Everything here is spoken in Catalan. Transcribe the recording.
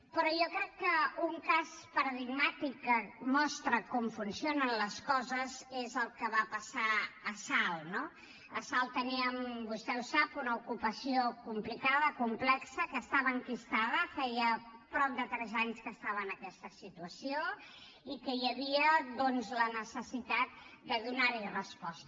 però jo crec que un cas paradigmàtic que mostra com funcionen les coses és el que va passar a salt no a salt teníem vostè ho sap una ocupació complicada complexa que estava enquistada feia prop de tres anys que estava en aquesta situació i que hi havia doncs la necessitat de donar hi resposta